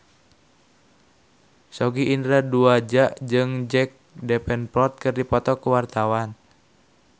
Sogi Indra Duaja jeung Jack Davenport keur dipoto ku wartawan